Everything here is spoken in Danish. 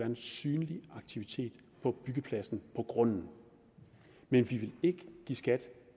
en synlig aktivitet på byggepladsen på grunden men vi vil ikke give skat